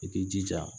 I k'i jija